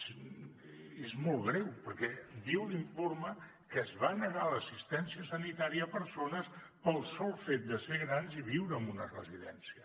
clar és molt greu perquè diu l’informe que es va negar l’assistència sanitària a persones pel sol fet de ser grans i viure en una residència